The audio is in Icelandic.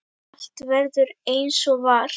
Allt verður eins og var.